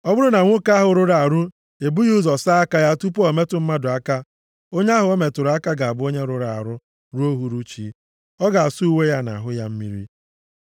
“ ‘Ọ bụrụ na nwoke ahụ rụrụ arụ ebughị ụzọ saa aka ya tupu o metụ mmadụ aka, onye ahụ o metụrụ aka ga-abụ onye rụrụ arụ ruo uhuruchi. Ọ ga-asa uwe ya na ahụ ya mmiri.